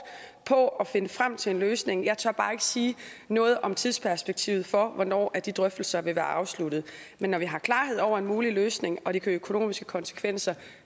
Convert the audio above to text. på at finde frem til en løsning jeg tør bare ikke sige noget om tidsperspektivet for hvornår de drøftelser vil være afsluttet men når vi har klarhed over en mulig løsning og de økonomiske konsekvenser